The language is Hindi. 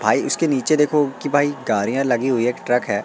भाई इसके नीचे देखो की भाई गाडियां लगी हुई है एक ट्रक है।